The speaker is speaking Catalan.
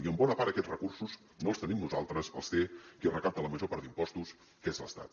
i en bona part aquests recursos no els tenim nosaltres els té qui recapta la major part d’impostos que és l’estat